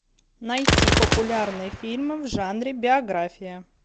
найти популярные фильмы в жанре биография